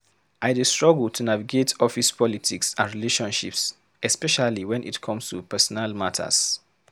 I dey struggle to navigate office politics and relationships, especially when it come to personal matters.